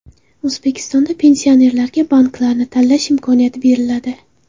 O‘zbekistonda pensionerlarga banklarni tanlash imkoniyati beriladi.